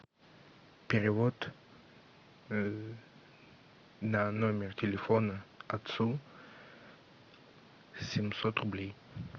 перевод на номер телефона отцу семьсот рублей